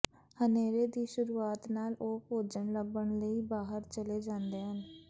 ਹਨੇਰੇ ਦੀ ਸ਼ੁਰੂਆਤ ਨਾਲ ਉਹ ਭੋਜਨ ਲੱਭਣ ਲਈ ਬਾਹਰ ਚਲੇ ਜਾਂਦੇ ਹਨ